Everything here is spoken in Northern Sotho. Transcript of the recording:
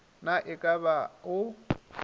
na e ka ba o